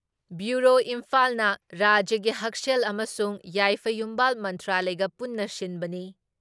Bureau ꯏꯝꯐꯥꯜꯅ ꯔꯥꯖ꯭ꯌꯒꯤ ꯍꯛꯁꯦꯜ ꯑꯃꯁꯨꯡ ꯌꯥꯏꯐ ꯌꯨꯝꯕꯥꯜ ꯃꯟꯇ꯭ꯔꯥꯂꯌꯒ ꯄꯨꯟꯅ ꯁꯤꯟꯕꯅꯤ ꯫